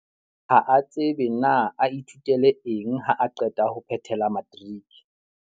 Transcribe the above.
Ha a tsebe na a ithutele eng haa qeta ho phethela matriki.